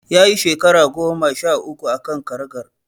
Ya yi shekara goma sha uku a kan karagar.